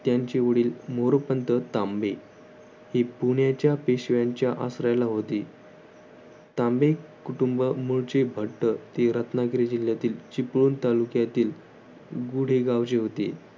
त्यांचे वडील मोरपंथ तांबे हे पुण्याच्या पेशव्यांच्या आसऱ्याला होते. तांबे कुटुंब मूळचे भट्टर ते रत्नागिरी जिल्ह्यातील चिपळूण तालुक्यातील गूढेगावचे होते.